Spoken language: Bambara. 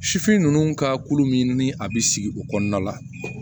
Sifin ninnu ka ko min ni a bɛ sigi o kɔnɔna la